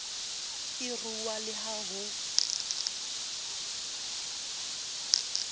e rua le ha ho